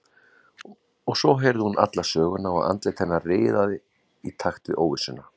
Og svo heyrði hún alla söguna og andlit hennar riðaði í takt við óvissuna.